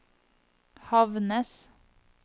Havnnes